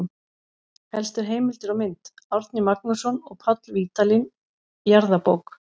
Helstu heimildir og mynd: Árni Magnússon og Páll Vídalín, Jarðabók.